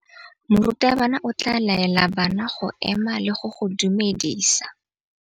Morutabana o tla laela bana go ema le go go dumedisa.